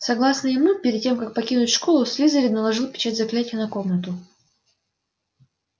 согласно ему перед тем как покинуть школу слизерин наложил печать заклятия на комнату